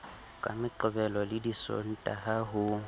ka meqebelo le disontaha ho